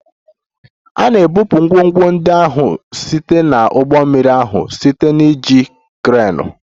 A na-ebupụ ngwongwo ndị ahụ site na ụgbọ mmiri ahụ site na iji kreenu